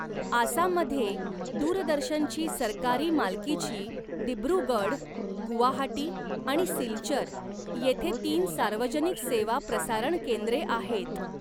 आसाममध्ये दूरदर्शनची सरकारी मालकीची दिब्रुगढ, गुवाहाटी आणि सिलचर येथे तीन सार्वजनिक सेवा प्रसारण केंद्रे आहेत.